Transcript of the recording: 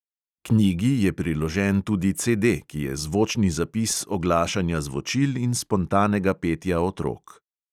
Knjigi je priložen tudi CD, ki je zvočni zapis oglašanja zvočil in spontanega petja otrok.